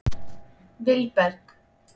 Vilberg